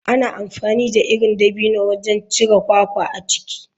Ana amfani da irin dabino wajen cire kwakwa a ciki.